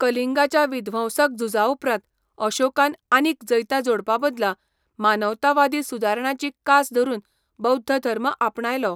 कलिंगाच्या विध्वंसक झुजाउपरांत अशोकान आनीक जैतां जोडपाबदला मानवतावादी सुदारणांची कास धरून बौध्द धर्म आपणायलो.